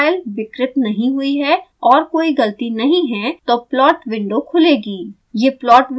अगर data file विकृत नहीं हुई है और कोई गलती नहीं है तो प्लाट विंडो खुलेगी